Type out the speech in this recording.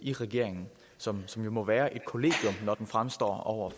i regeringen som som jo må være et kollegium når den fremstår over